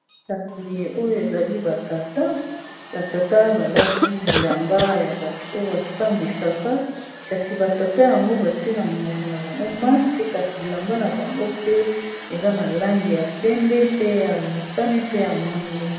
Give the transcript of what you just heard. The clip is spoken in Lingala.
Kasi oyo ezali batata batata balati bilamba ya bato oyo basambwisaka kasi batata yango batie na monoko na bango maske kasi bilamba na bango pe eza na langi ya pembe, pe ya motane, pe ya mwindo.